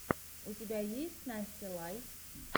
у тебя есть настя лай